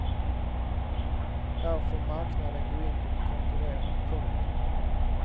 Här får marknaden gå in och konkurrera. punkt